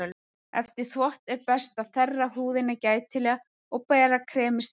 Eftir þvott er best að þerra húðina gætilega og bera kremið strax á eftir.